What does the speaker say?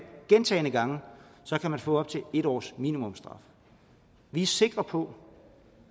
gentagne gange kan man få op til en års minimumsstraf vi er sikre på